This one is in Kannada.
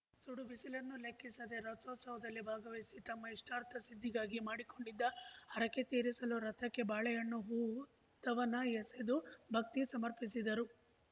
ಸುಡು ಬಿಸಿಲನ್ನೂ ಲೆಕ್ಕಿಸದೆ ರಥೋತ್ಸವದಲ್ಲಿ ಭಾಗವಹಿಸಿ ತಮ್ಮ ಇಷ್ಟಾರ್ಥ ಸಿದ್ದಿಗಾಗಿ ಮಾಡಿಕೊಂಡಿದ್ದ ಹರಕೆ ತೀರಿಸಲು ರಥಕ್ಕೆ ಬಾಳೆಹಣ್ಣು ಹೂವು ದವನ ಎಸೆದು ಭಕ್ತಿ ಸಮರ್ಪಿಸಿದರು